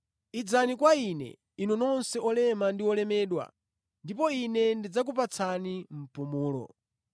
“Idzani kwa Ine, inu nonse otopa ndi olemedwa ndipo Ine ndidzakupatsani mpumulo.